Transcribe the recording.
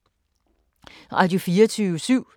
Radio24syv